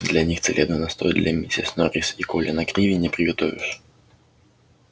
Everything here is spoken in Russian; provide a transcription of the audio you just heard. для них целебный настой для миссис норрис и колина криви не приготовишь